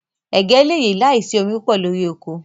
Ẹ̀gẹ̀ lè yẹ làísì omi púpọ̀ lórí oko.